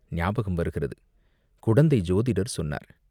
ஞாபகம் வருகிறது, குடந்தை சோதிடர் சொன்னார்.